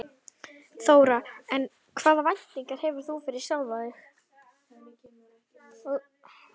Þóra: En hvaða væntingar hefur þú fyrir sjálfan þig?